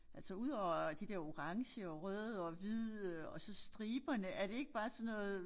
Altså udover de der orange og røde og hvide og så striberne er det ikke bare sådan noget